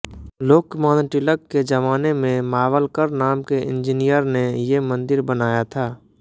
लोकमान्य टिलक के जमाने में मावलकर नाम के इंजिनिअरने ये मंदिर बनाया था